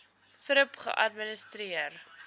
thrip geadministreer